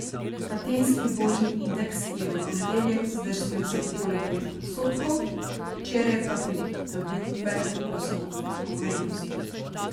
Atenski borzni indeks je v ponedeljek zdrsnil za okoli pet odstotkov, včeraj pa pridobil več kot osem odstotkov vrednosti.